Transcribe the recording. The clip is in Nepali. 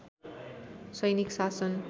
सैनिक शासन